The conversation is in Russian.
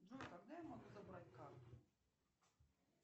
джой когда я могу забрать карту